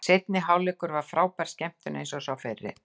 Seinni hálfleikur var frábær skemmtun eins og sá fyrri.